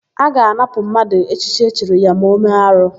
A ga-anapụ mmadụ echichi echiri ya ma ọ mee arụ.